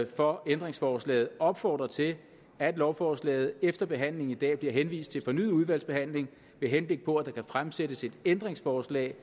for ændringsforslaget opfordre til at lovforslaget efter behandlingen i dag bliver henvist til fornyet udvalgsbehandling med henblik på at der kan fremsættes et ændringsforslag